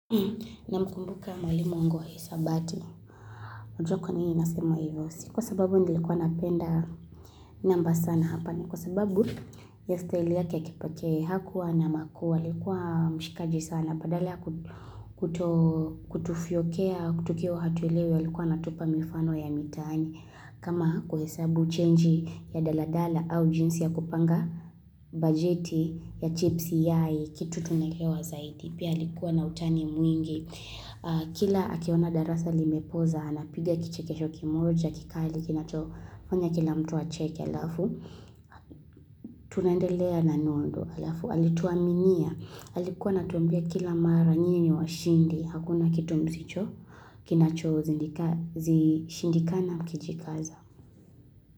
Namkumbuka mwalimu wangu wa hisabati. Unajua kwa nini nasema hivo. Si kwa sababu nilikuwa napenda namba sana hapa. Ni kwa sababu ya staili yake ya kipekee hakuwa na makuu. Alikuwa mshikaji sana. Badala ya kuto kutufyokea, kutukio hatuelewi. Likuwa natupa mifano ya mitani. Kama kuhesabu chenji ya daladala au jinsi ya kupanga bajeti ya chipsi yai Kitu tunaelewa zaidi. Pia alikuwa na utani mwingi. Kila akiona darasa limepoza, anapiga kichekesho kimoja, kikali, kinacho, fanya kila mtu acheke alafu, tunaendelea na nondo alafu, alituaminia, alikuwa anatuambia kila mara nyi ni washindi, hakuna kitu msicho, kinacho zidaka zishindikana mkijikaza.